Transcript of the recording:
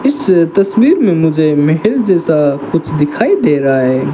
इस तस्वीर में मुझे महल जैसा कुछ दिखाई दे रहा है।